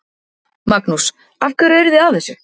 Magnús: Af hverju eruð þið að þessu?